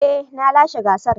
Eh na lashe gasar.